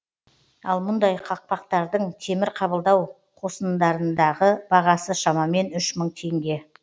ал мұндай қақпақтардың темір қабылдау қосындарындағы бағасы шамамен үш мың теңге